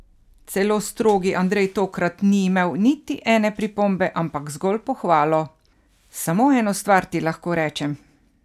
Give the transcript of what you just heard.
Celo strogi Andrej tokrat ni imel niti ene pripombe, ampak zgolj pohvalo: "Samo eno stvar ti lahko rečem.